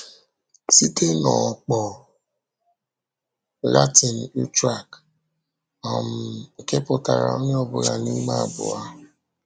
Site n’ọ̀kpọ̀ Latin utraque, um nke pụtara “onye ọbụla n’ime abụọ.”